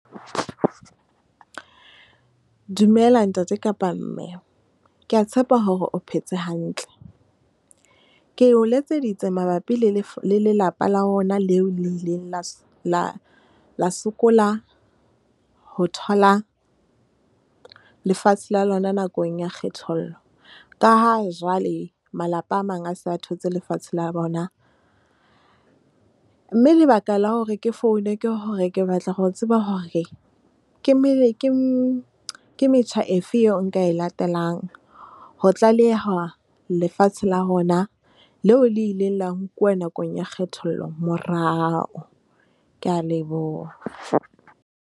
Dumela ntate kapa mme ke ya tshepa hore o phetse hantle. Ke o letseditse mabapi le lelapa la rona, leo le ileng la sokola ho thola lefatshe la lona nakong ya kgethollo. Ka ha jwale malapa a mang a se a thotse lefatshe la bona, mme lebaka la hore ke foune ke hore ke batla ho tseba hore. Ke metjha efeng eo nka e latelang ho tlaleha lefatshe la rona leo le ileng la nkuwa nakong ya kgethollo morao. Kea leboha.